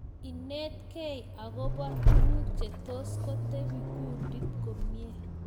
Inetkei akopa tuguk chetos kotepi kundit komnye